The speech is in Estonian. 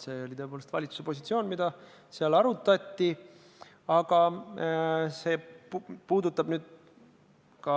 See oli tõepoolest valitsuse positsioon, mida seal arutati, aga see puudutab ka